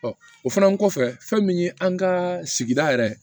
o fana kɔfɛ fɛn min ye an ka sigida yɛrɛ